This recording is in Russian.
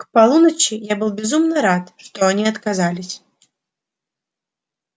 к полуночи я был безумно рад что они отказались